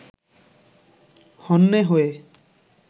হন্যে হয়ে